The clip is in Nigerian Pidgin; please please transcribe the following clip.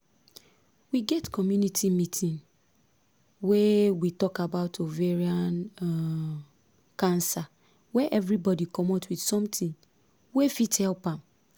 we get community meeting wey we talk about ovarian um cancer wey everybody commot with something wey fit help am